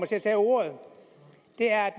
til at tage ordet er